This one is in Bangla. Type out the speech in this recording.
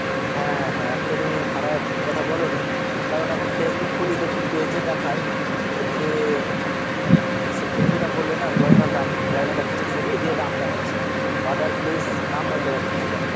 হ্যাঁ হ্যাঁ একটা তুমি খারাপ কথা বলনি কারণ এখন Facebook খুলি দেখি পেজ এ দেখায় যে উম মানে সে তুমি যেটা বললে না গয়না দাম গয়না দেখাচ্ছে ছবি দিয়ে দাম দেখাচ্ছে order please number দেওয়া থাকছে